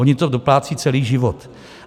Ony to doplácejí celý život.